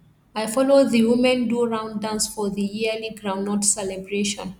i follow the women do round dance for the yearly groundnut celebration